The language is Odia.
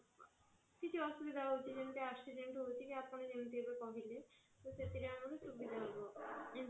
କିଛି ଅସୁବିଧା ହଉଛି ଯେମିତି accident ହଉଛି କି ଆପଣ ଯେମିତି ଏବେ କହିଲେ ସେଥିରେ ଆମର ସୁବିଧା ହବ